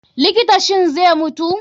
likta, shin zai mutu?